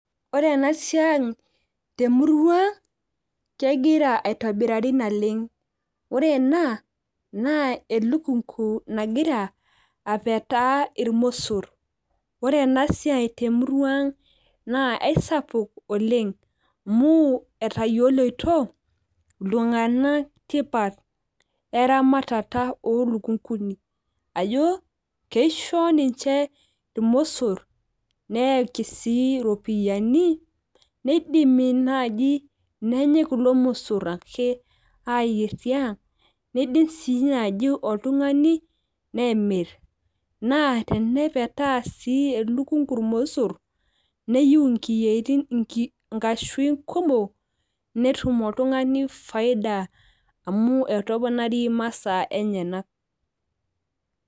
ore ena siai temurua ang kegira aetobirari naleng. ore ena naa eluknku nagira apetaa ilmosor. ore ena siai temurua ang naa aisapuk oleng amu, etayioloito iltunganak tipat eramatata ooluknkuni. ajo keisho ninche irmosor, neyaki si iropiyiani. neidimi naaji nenyae kulo mosor ake aayier tiang. neidim sii naaji oltungani nemir. naa tenepetaa sii elukunku irmosor. neyieu inkiyietin, inkashuin kumok netum oltungani faida amu etoponari imasaa enyenak.